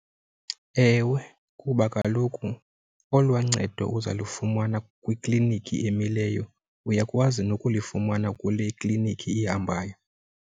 Ewe, kuba kaloku olwaa ncedo uza lufumana kwiklinikhi emileyo uyakwazi nokulifumana kule klinikhi ihambayo.